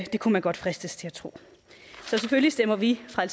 kunne man godt fristes til at tro så selvfølgelig stemmer vi fra